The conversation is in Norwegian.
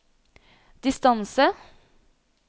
distance